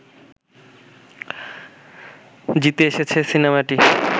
জিতে এসেছে সিনেমাটি